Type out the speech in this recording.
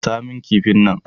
Gasa kifin nan!